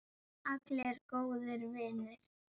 Allir góðir vinir.